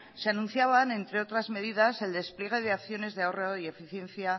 se anunciaban entre otras medidas el despliegue de acciones de ahorrado y eficiencia